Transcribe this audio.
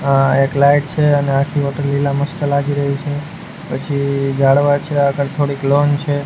આ એક લાઈટ છે અને આખી હોટલ લીલા મસ્ત લાગી રહી છે પછી જાડવા છે આગળ થોડીક લોન છે.